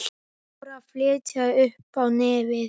Dóra fitjaði upp á nefið.